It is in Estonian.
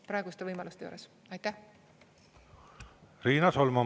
Riina Solman, palun!